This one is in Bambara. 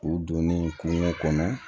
K'u donnen kungo kɔnɔ